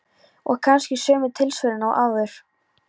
Og kannski sömu tilsvörin og áður.